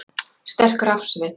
Sterk rafsvið